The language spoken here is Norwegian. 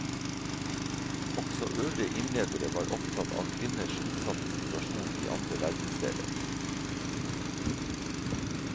Også øvrige innledere var opptatt av kvinners utsatte situasjon i andre verdensdeler.